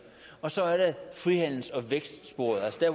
og så er der frihandels og vækstsporet altså der